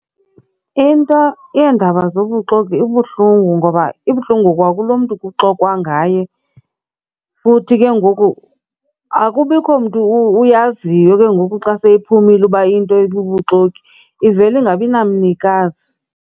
Into yeendaba zobuxoki ibuhlungu ngoba ibuhlungu kwakulo mntu kuxoxwa ngaye. Futhi ke ngoku akubikho mntu uyaziyo ke ngoku xa seyiphumile uba into ibubuxoki, ivele ingabi namnikazi.